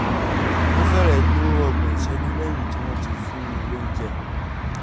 ó fẹ́rẹ̀ẹ́ tó ọgbọ̀n ìṣẹ́jú lẹ́yìn tí wọ́n ti fún un lóúnjẹ